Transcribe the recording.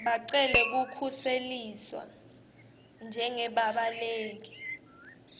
bacele kukhuseliswa njengebabaleki